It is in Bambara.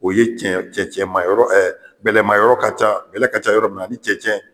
O ye cɛnccn bɛlɛma yɔrɔ ka ca bɛlɛ ka ca yɔrɔ minna na ni cɛncɛn.